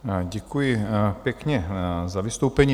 Děkuji pěkně za vystoupení.